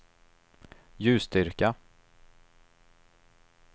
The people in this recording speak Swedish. ljusstyrka